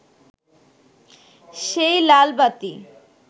সেই লালবাতি